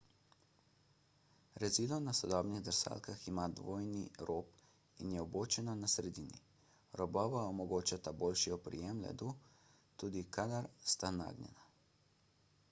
rezilo na sodobnih drsalkah ima dvojni rob in je vbočeno na sredini robova omogočata boljši oprijem ledu tudi kadar sta nagnjena